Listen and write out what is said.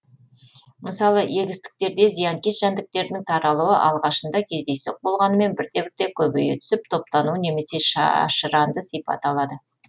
мысалы егістіктерде зиянкес жәндіктердің таралуы алғашында кездейсоқ болғанымен бірте бірте көбейе түсіп топтану немесе шашыранды сипат алады